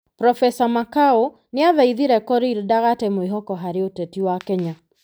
Prof Makau nĩ athaithire Korir ndagate mwĩhoko harĩ ũteti wa Kenya